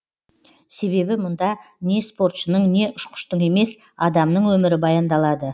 себебі мұнда не спортшының не ұшқыштың емес адамның өмірі баяндалады